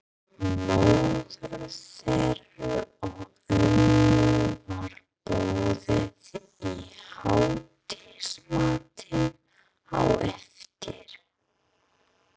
Móður þeirra og ömmu var boðið í hádegismatinn á eftir.